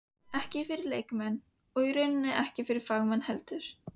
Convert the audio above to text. Ekki fyrir leikmenn- og raunar ekki fagmenn heldur.